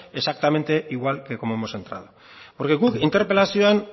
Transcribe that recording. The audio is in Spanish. exactamente igual que como hemos entrado guk interpelazioan